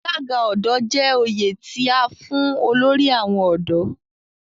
Alaga Ọdọ' je oyè ti a fun olori awon ọdọ